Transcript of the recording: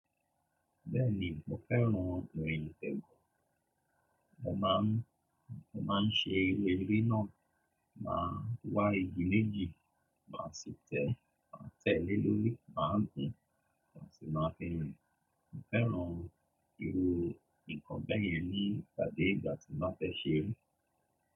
Bẹ́ẹ̀ni, mo fẹ́ràn ìrìn ìsẹgùn. Mo máa ń, mo máa ń ṣe irú eré náà, màá wá igi méjì, màá sì tẹ̀, màá tẹ̀ lé lórí, màá gùn, màá sì máa fi rìn. Mo fẹ́ràn irú nǹkan bẹ́ẹ̀ yẹn nígbà dé ìgbà tí mo fẹ́ ṣe eré.